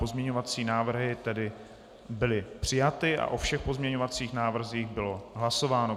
Pozměňovací návrhy tedy byly přijaty a o všech pozměňovacích návrzích bylo hlasováno.